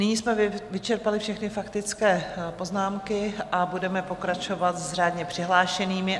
Nyní jsme vyčerpali všechny faktické poznámky a budeme pokračovat s řádně přihlášenými.